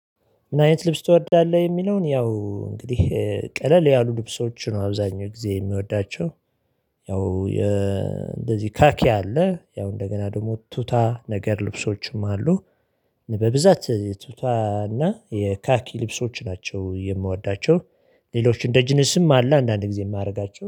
ምን አይነት ልብስ ትወዳለህ? የሚለውን ያው እንግዲህ ቀለል ያሉ ልብሶች ነው አብዛኛው ጊዜ የሚወዳቸው። ያው እንደዚህ ካኪ አለ ያው እንደገና ደግሞ ቱታ ነገር ልብሶችም አሉ። በብዛት የቱታና የካኪ ልብሶች ናቸው የምወዳቸው። ሌሎች እንደ ጅንስም አለ አንዳንድ ጊዜ የማደርጋቸው